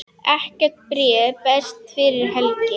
Ekkert bréf berst fyrir helgi.